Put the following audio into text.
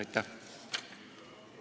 Aitäh!